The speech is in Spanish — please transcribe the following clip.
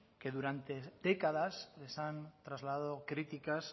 que durante décadas les han trasladado críticas